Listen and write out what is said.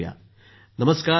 मोदी जीः नमस्कार डॉ